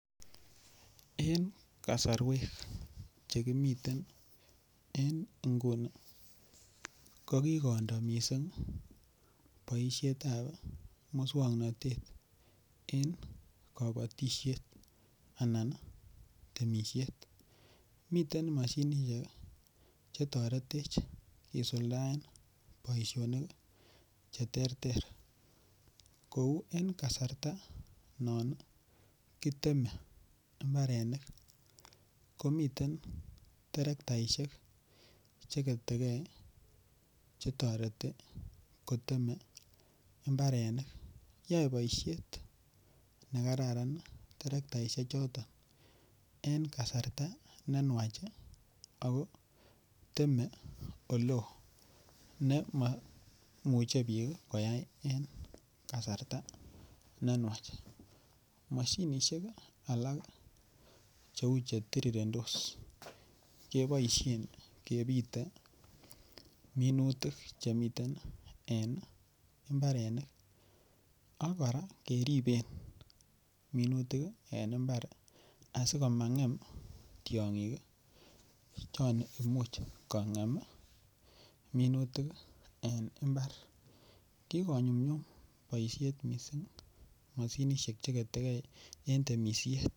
En kasarwek Che kimiten en nguni ko kindo mising boisionik chebo moswoknatet en kabatisiet anan temisiet miten mashinisiek Che toretech kisuldaen boisionik Che terter kou en kasarta non kiteme mbarenik komiten terrktaisiek Che ketegei Che toreti koteme mbarenik yoe boisiet ne kararan terrktaisiek choton en kasarta ne nwach ago teme Ole oo ne mamuche bik koyai en kasarta ne nwach mashinisiek alak Cheu terirendos keboisien kebite minutik Che miten en mbarenik ak kora keriben minutik en mbar asikomangem tiongik chon Imuch kongem minutik en mbar ki konyumnyum boisiet mising mashinisiek Che ketegei en temisiet